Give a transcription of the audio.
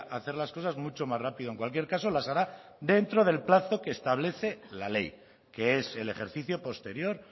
hacer las cosas mucho más rápido en cualquier caso las hará dentro del plazo que establece la ley que es el ejercicio posterior